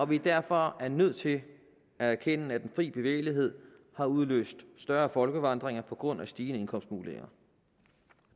vi derfor er nødt til at erkende at fri bevægelighed har udløst større folkevandringer på grund af stigende indkomstmuligheder